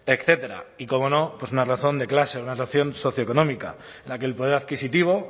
etcétera y cómo no una razón de clase una razón socioeconómica en la que el poder adquisitivo